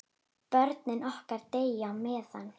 Börnin okkar deyja á meðan.